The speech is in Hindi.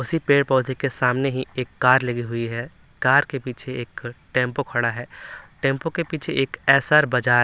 उसी पेड़-पौधे के सामने ही एक कार लगी हुई है कार के पीछे एक टेंपो खड़ा है टेंपो के पीछे एक एस_आर बाजार--